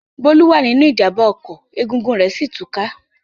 Bólú wà nínú ìjàmbá ọkọ̀ egungun rẹ̀ sí ì tú ká.